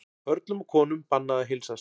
Körlum og konum bannað að heilsast